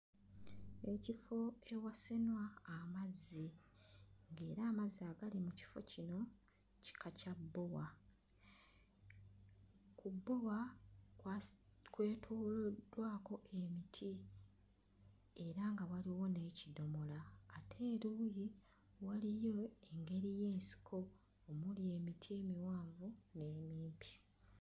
Ekifo ewasenwa amazzi ng'era amazzi agali mu kifo kino kika kya bbowa. Ku bbowa kwasi... kwetooloddwako emiti era nga waliwo n'ekidomola ate eruuyi waliyo engeri y'ensiko omuli emiti emiwanvu n'emimpi.